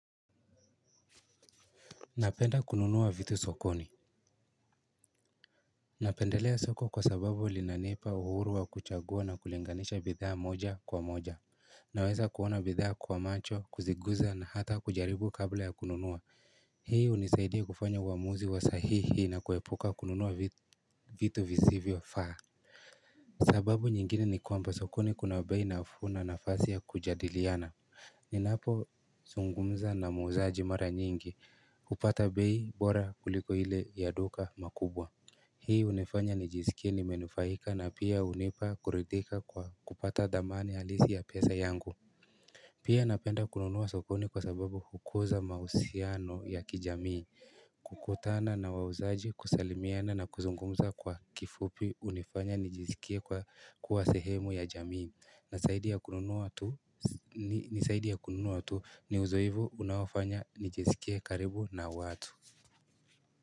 Napenda kununuwa vitu sokoni Napendelea soko kwa sababu linanipa uhuruwa kuchagua na kulinganisha bidhaa moja kwa moja Naweza kuona bidhaa kwa macho kuziguza na hata kujaribu kabla ya kununuwa Hii unisaidia kufanya uamuzi wa sahihi na kuepuka kununuwa vitu visivyo faa sababu nyingine ni kwamba sokoni kuna bei na akuna na fasi ya kujadiliana ni napo zungumza na muuzaji mara nyingi, upata beyi bora kuliko ile ya duka makubwa. Hii unifanya nijiskie nimenufahika na pia unipa kuridhika kwa kupata dhamani alisi ya pesa yangu. Pia napenda kununuwa sokoni kwa sababu hukuza mausiano ya kijamii. Kukutana na wauzaji kusalimiana na kuzungumza kwa kifupi unifanya nijiskie kwa kuasehemu ya jamii. Nasaidi ya kuiunua watu ni uzo hivu unawafanya nijiskie karibu na watu.